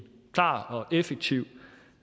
klar og effektiv